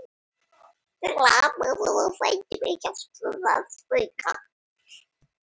Lamaður á fætur með hjálp rafskauta